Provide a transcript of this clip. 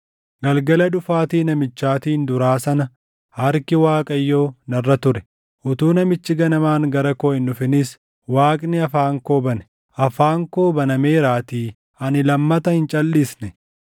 Galgala dhufaatii namichaatiin duraa sana harki Waaqayyoo narra ture; utuu namichi ganamaan gara koo hin dhufinis Waaqni afaan koo bane. Afaan koo banameeraatii ani lammata hin calʼisne.